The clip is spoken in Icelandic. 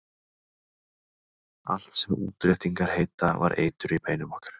Allt sem útréttingar heita var eitur í beinum okkar.